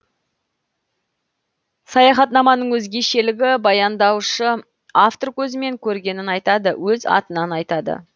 саяхатнаманың өзгешелігі баяндаушы автор көзімен көргенін айтады өз атынан айтады